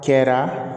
Kɛra